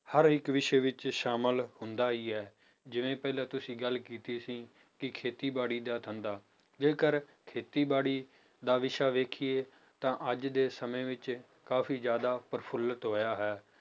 ਹਰ ਇੱਕ ਵਿਸ਼ੇ ਵਿੱਚ ਸ਼ਾਮਲ ਹੁੰਦਾ ਹੀ ਹੈ, ਜਿਵੇਂ ਪਹਿਲਾਂ ਤੁਸੀਂ ਗੱਲ ਕੀਤੀ ਸੀ ਕਿ ਖੇਤੀਬਾੜੀ ਦਾ ਧੰਦਾ ਜੇਕਰ ਖੇਤੀਬਾੜੀ ਦਾ ਵਿਸ਼ਾ ਵੇਖੀਏ ਤਾਂ ਅੱਜ ਦੇ ਸਮੇੋਂ ਵਿੱਚ ਕਾਫ਼ੀ ਜ਼ਿਆਦਾ ਪ੍ਰਫੁਲਤ ਹੋਇਆ ਹੈ